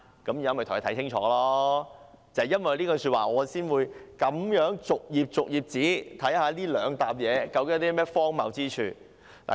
正因為她這句說話，我才會逐頁看看究竟這兩疊文件有何荒謬之處。